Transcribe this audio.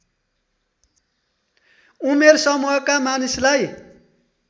उमेर समूहका मानिसलाई